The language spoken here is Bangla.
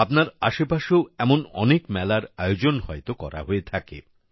আপনার আশেপাশেও এমন অনেক মেলার আয়োজন হয়তো করা হয়ে থাকে